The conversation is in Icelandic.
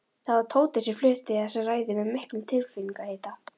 Það var Tóti sem flutti þessa ræðu með miklum tilfinningahita.